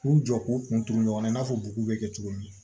K'u jɔ k'u kun turu ɲɔgɔn na i n'a fɔ bugu bɛ kɛ cogo min